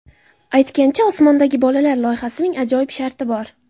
Aytgancha, "Osmondagi bolalar" loyihasining ajoyib sharti bor.